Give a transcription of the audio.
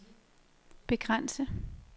begrænse